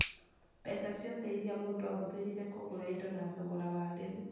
Mbeca ciothe iria mũndũ ahũthĩrire kũgũra indo na thogora wa rĩu